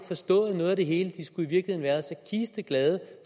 forstået noget af det hele de skulle i virkeligheden være så kisteglade